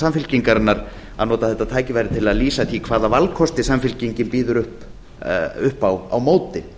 samfylkingarinnar að nota þetta tækifæri til að lýsa því hvaða valkosti samfylkingin býður upp á á móti